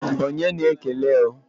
Onye na-ekele o?